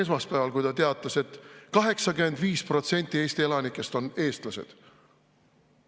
Esmaspäeval, kui ta teatas, et 85% Eesti elanikest on eestlased.